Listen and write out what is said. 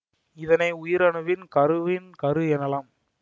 இதனை உயிரணுவின் கருவின் கரு எனலாம்